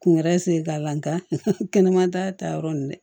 Kun wɛrɛ sen k'a la nka kɛnɛma ta yɔrɔ ninnu dɛ